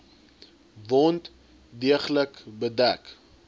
wond deeglik bedek